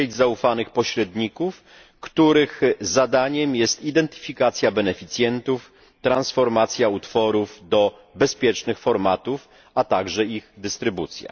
sieć zaufanych pośredników, których zadaniem jest identyfikacja beneficjentów, transformacja utworów do bezpiecznych formatów, a także ich dystrybucja.